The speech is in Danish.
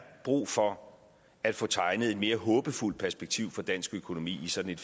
brug for at få tegnet et mere håbefuldt perspektiv for dansk økonomi i sådan